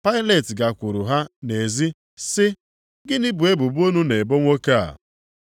Pailet gakwuru ha nʼezi sị, “Gịnị bụ ebubo unu na-ebo nwoke a?”